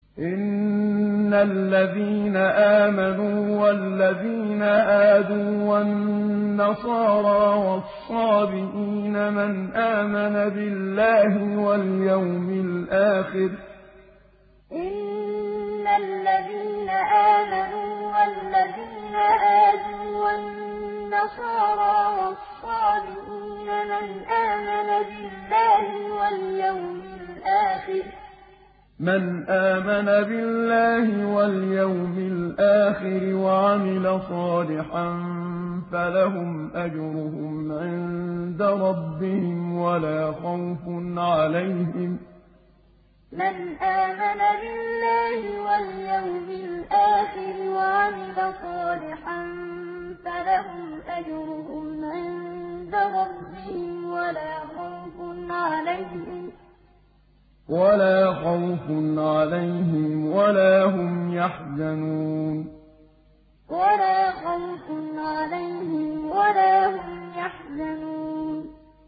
إِنَّ الَّذِينَ آمَنُوا وَالَّذِينَ هَادُوا وَالنَّصَارَىٰ وَالصَّابِئِينَ مَنْ آمَنَ بِاللَّهِ وَالْيَوْمِ الْآخِرِ وَعَمِلَ صَالِحًا فَلَهُمْ أَجْرُهُمْ عِندَ رَبِّهِمْ وَلَا خَوْفٌ عَلَيْهِمْ وَلَا هُمْ يَحْزَنُونَ إِنَّ الَّذِينَ آمَنُوا وَالَّذِينَ هَادُوا وَالنَّصَارَىٰ وَالصَّابِئِينَ مَنْ آمَنَ بِاللَّهِ وَالْيَوْمِ الْآخِرِ وَعَمِلَ صَالِحًا فَلَهُمْ أَجْرُهُمْ عِندَ رَبِّهِمْ وَلَا خَوْفٌ عَلَيْهِمْ وَلَا هُمْ يَحْزَنُونَ